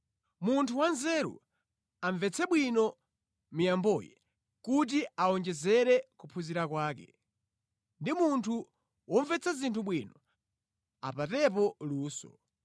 Munthu wanzeru amvetse bwino miyamboyi kuti awonjezere kuphunzira kwake, ndi munthu womvetsa zinthu bwino apatepo luso,